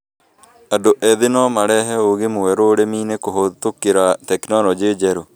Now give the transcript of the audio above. Andũ ethĩ no marehe ũũgi mũeru ũrĩmi-inĩ kũhĩtũkĩra tekinolonjĩ njerũ